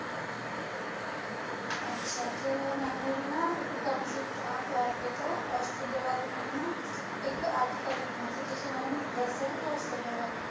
ਅੱਛਾ ਤੇ ਮੈਨੂੰ ਵੀ ਨਾ ਇੱਕ ਆ ਤੁਹਾਡੇ ਤੋਂ ਆਸਟ੍ਰੇਲੀਆ ਬਾਰੇ ਮੈਨੂੰ ਨਾ ਇੱਕ article ਲਿਖਣਾ ਤੇ ਤੁਸੀ ਮੈਨੂੰ ਦੱਸ ਸਕਦੇ ਹੋ ਆਸਟ੍ਰੇਲੀਆ ਬਾਰੇ